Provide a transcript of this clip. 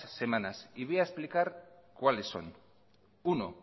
semanas y voy a explicar cuáles son uno